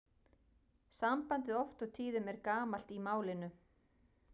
Sambandið oft og tíðum er gamalt í málinu.